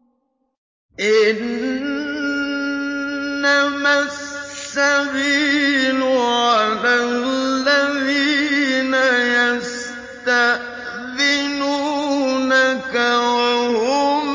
۞ إِنَّمَا السَّبِيلُ عَلَى الَّذِينَ يَسْتَأْذِنُونَكَ وَهُمْ